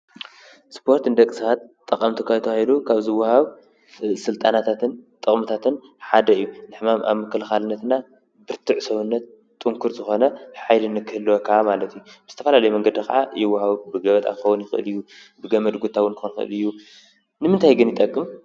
ስጶርት እንደኽስሓት ጠቐምቲ ኳቶሂዱ ካብ ዝውሃው ሥልጣናታትን ጠቕምታትን ሓደ እዩ ንሕማም ኣብ ምከልኻልነትና ብርቱዕ ሰዉነት ጥንክር ዝኾነ ኃይልንክህልወካ ማለቱይ ምስተፋላለይ መንገዲ ኸዓ ይውሃዊ ብገበጥ ኣፈውን ይኽእልዩ ብገመድጉታውን ኮንፈልዩ ንምንታይ ግን ይጠቅም?